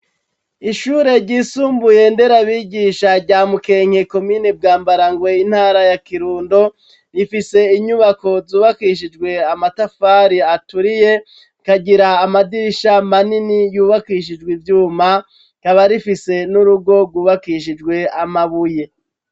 Ishure ryisumbuye nderabigisha rya mukenke, komine bwambarangwe, intara ya kirundo, rifise inyubako zubakishijwe Amatafari aturiye, kagira amadirisha manini yubakishijwe ivyuma ,kaba rifise n'urugo gubakishijwe Amabuye.